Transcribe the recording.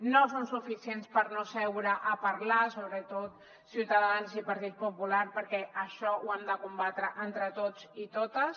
no són suficients per no seure a parlar sobretot ciutadans i partit popular perquè això ho hem de combatre entre tots i totes